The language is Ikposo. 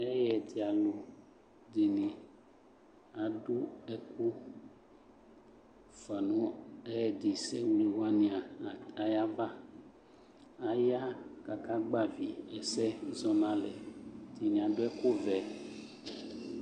Ɛyɛdɩalʋ dɩnɩ adʋ ɛkʋ fʋa nʋ ɛyɛdɩsɛwle wanɩ at ayava Aya kʋ akagbavɩ ɛsɛ zɔ nʋ alɛ Ɛdɩnɩ adʋ ɛkʋvɛ